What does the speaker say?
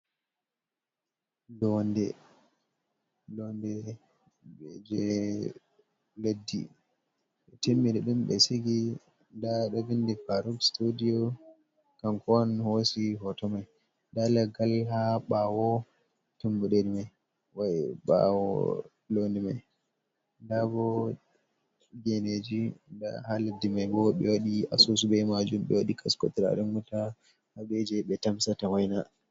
Blonde je leddi ɓe timmin nda ɗum be sigi nda ɗo vindi parop studio, kanko on hosi hoto mai nda laggal ha bawo tummude mai wai bwo londe mai nda bo geneji, nda ha leddi mai bo ɓe wadi asusu ɓe majun ɓe waɗi kasko turaren wuta ha ɓe je ɓe tamsata waina.